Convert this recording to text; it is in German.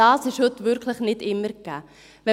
Das ist heute wirklich nicht immer gegeben.